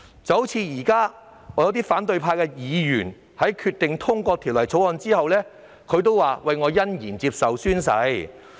現時，有些反對派議員表示會在《條例草案》通過後欣然宣誓。